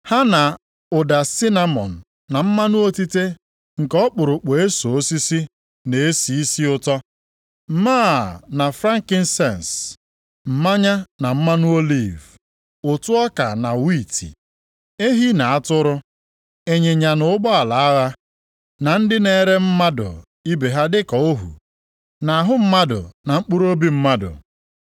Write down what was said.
Ha na ụda sinamọn na mmanụ otite nke ọkpụrụkpụ eso osisi na-esi isi ụtọ, máá na frankisens, mmanya na mmanụ oliv, ụtụ ọka na wiiti, ehi na atụrụ, ịnyịnya na ụgbọala agha, na ndị na-ere mmadụ ibe ha dịka ohu, na ahụ mmadụ na mkpụrụobi mmadụ.